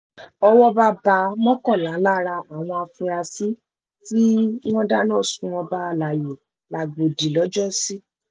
owó bá mọ́kànlá lára àwọn afurasí tí wọ́n dáná sun ọba alayé làgbòdì lọ́jọ́sí